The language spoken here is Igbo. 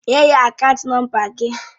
Nye ya akaant nọmba gị!